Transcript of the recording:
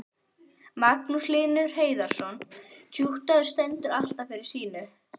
Magnús Hlynur Hreiðarsson: Tjúttið stendur alltaf fyrir sínu?